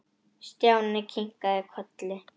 Stjáni kinkaði kolli.